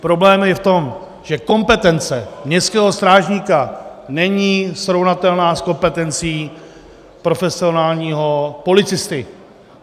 Problém je v tom, že kompetence městského strážníka není srovnatelná s kompetencí profesionálního policisty.